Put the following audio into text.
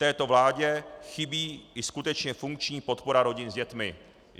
Této vládě chybí i skutečně funkční podpora rodin s dětmi.